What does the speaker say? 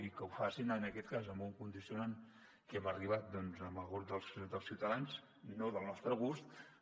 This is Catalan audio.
i que ho facin en aquest cas amb un condicionant a que hem arribat amb el grup de ciutadans no del nostre gust però